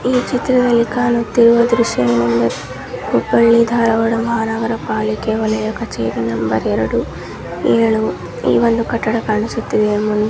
ಈ ಚಿತ್ರದಲ್ಲಿ ಕಾಣುತ್ತಿರುವ ಏನಂದ್ರೆ ಹುಬ್ಬಳ್ಳಿ ಧಾರ್ವಾಡ ಮಹಾನಗರ ಪಾಲಿಕೆ ಒಲಿಯ ಕಚೇರಿ ನಂಬರ್ ಎರಡು ಏಳು ಈ ಕಾಟಡಾ ಕಾಣಿಸುತ್ತಿದೆ.